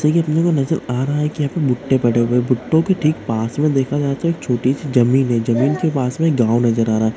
आ रहा है कि आप भूतों पड़े हुए भुट्टे के ठीक पास में देखा जाए तो एक छोटी सी जमीन है जमीन के पास में गांव नजर आ रहा ।